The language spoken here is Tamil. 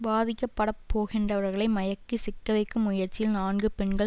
பாதிக்கப்படப்போகின்றவர்களை மயக்கி சிக்கவைக்கும் முயற்சியில் நான்கு பெண்கள்